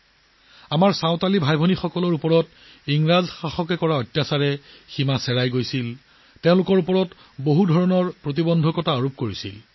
ইংৰাজে আমাৰ সন্থালী ভাই ভনীসকলৰ ওপৰত বহু অত্যাচাৰ কৰিছিল তেওঁলোকেও ইয়াৰ ওপৰত বহুতো বাধা আৰোপ কৰিছিল